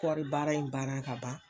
Kɔri baara in banna ka ban.